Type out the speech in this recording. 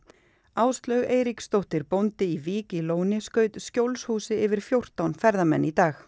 Áslaug Eiríksdóttir bóndi í Vík í Lóni skaut skjólshúsi yfir fjórtán ferðamenn í dag